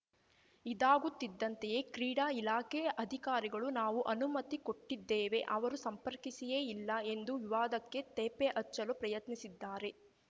ಇದಾಗುತ್ತಿದ್ದಂತೆಯೇ ಕ್ರೀಡಾ ಇಲಾಖೆ ಅಧಿಕಾರಿಗಳು ನಾವು ಅನುಮತಿ ಕೊಟ್ಟಿದ್ದೇವೆ ಅವರು ಸಂಪರ್ಕಿಸಿಯೇ ಇಲ್ಲ ಎಂದು ವಿವಾದಕ್ಕೆ ತೇಪೆ ಹಚ್ಚಲು ಪ್ರಯತ್ನಿಸಿದ್ದಾರೆ